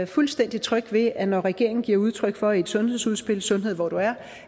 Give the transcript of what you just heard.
fuldstændig tryg ved at når regeringen giver udtryk for i et sundhedsudspil sundhed hvor du er